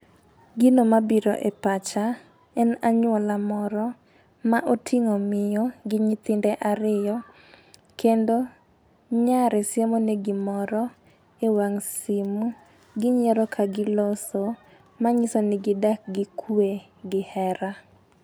Gino mabiro e pacha en anyuola moro ma oting'o miyo gi nyithinde ariyo kendo nyare siemone gimoro e wang' simu ginyiero ka giloso. Ma nyiso ni gidak gi kwe gi hera.